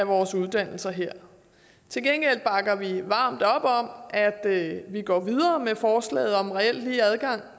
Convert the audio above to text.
vores uddannelser her til gengæld bakker vi varmt op om at vi går videre med forslaget om reelt lige adgang